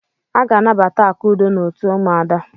Aga anabata Akudo n'otu ụmụada.